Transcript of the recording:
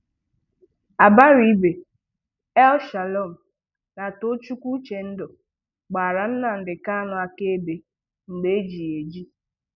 Abaribe, El-Shalom na Tochukwu Uchendụ gbàrà Nnamdi Kànu àkàèbè mgbe eji ya eji.